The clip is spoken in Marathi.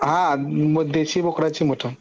हा म देशी बोकडाची मटन